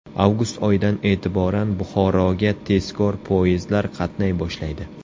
Avgust oyidan e’tiboran Buxoroga tezkor poyezdlar qatnay boshlaydi .